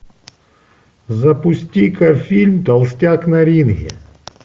запусти ка фильм толстяк на ринге